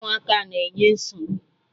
Ụmụaka na-enye nsogbu!